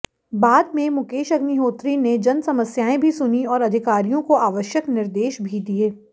बाद में मुकेश अग्निहोत्री ने जनसमस्याएं भी सुनीं और अधिकारियों को आवश्यक निर्देश भी दिए